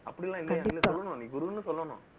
அப்படி எல்லாம் இல்லை. என்னை சொல்லணும். நீ குருன்னு சொல்லணும்